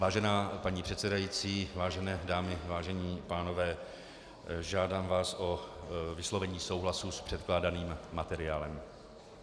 Vážená paní předsedající, vážené dámy, vážení pánové, žádám vás o vyslovení souhlasu s předkládaným materiálem.